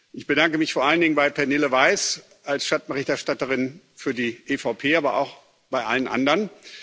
Ich bedanke mich vor allen Dingen bei Pernille Weiss als Schattenberichterstatterin für die EVP Fraktion, aber auch bei allen anderen.